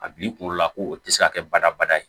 A b'i kunkolo la ko o tɛ se ka kɛ badabada ye